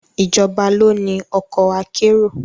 Ìjọba ló ni ọkọ̀ akérò